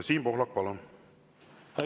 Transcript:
Siim Pohlak, palun!